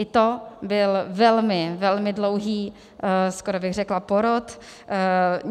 I to byl velmi, velmi dlouhý, skoro bych řekla porod.